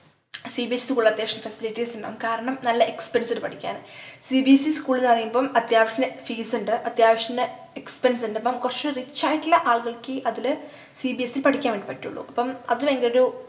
cbseschool അത്യാവശ്യം facilities ഇണ്ടാവും കാരണം നല്ല expense ഇണ്ട് പഠിക്കാൻ cbse schools ന്നു പറയുമ്പോ അത്യാവശ്യത്തിനു fees ഇണ്ട് അത്യാവശ്യത്തിനു expense ഇണ്ട് അപ്പം കൊർച് rich ആയിട്ടുള്ള ആളുകൾക്കെ അതില് cbse പഠിക്കാൻ വേണ്ടി പറ്റുള്ളൂ അപ്പം അത് അതിന്റെയൊരു